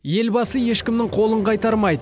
елбасы ешкімнің қолын қайтармайды